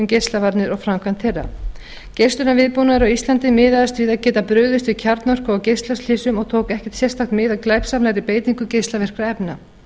geislavarnir og framkvæmd þeirra geislunarviðbúnaður á íslandi miðaðist við að geta brugðist við kjarnorku og geislaslysum og tók ekki sérstakt mið af glæpsamlegri beitingu geislavirkra efna